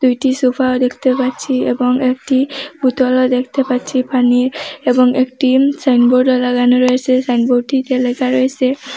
দুইটি সোফাও দেখতে পাচ্ছি এবং একটি বোতলও দেখতে পাচ্ছি পানির এবং একটি সাইনবোর্ডও লাগানো রয়েসে সাইনবোর্ডটিতে লেখা রয়েসে --